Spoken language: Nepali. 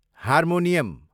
हार्मोनियम